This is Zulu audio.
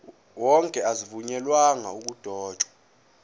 wonke azivunyelwanga ukudotshwa